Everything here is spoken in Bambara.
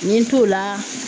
N ye n t'o la